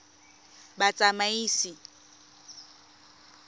batsamaisi